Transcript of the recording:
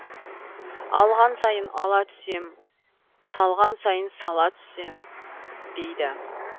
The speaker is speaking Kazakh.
алған сайын ала түссем салған сайын сала түссем дейді